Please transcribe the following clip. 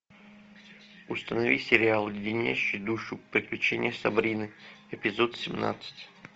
установи сериал леденящие душу приключения сабрины эпизод семнадцать